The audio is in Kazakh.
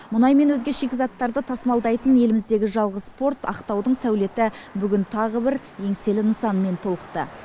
мұнай мен өзге шикізаттарды тасымалдайтын еліміздегі жалғыз порт ақтаудың сәулеті тағы бүгін бір еңселі нысанмен толықты